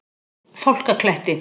Fálkakletti